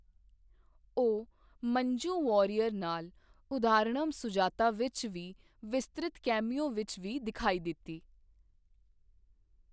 ਉਹ ਮੰਜੂ ਵਾਰੀਅਰ ਨਾਲ ਉਦਹਾਰਨਮ ਸੁਜਾਤਾ ਵਿੱਚ ਇੱਕ ਵਿਸਤ੍ਰਿਤ ਕੈਮਿਓ ਵਿੱਚ ਵੀ ਦਿਖਾਈ ਦਿੱਤੀ।